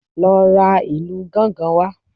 Lọ ra ìlù gángan wá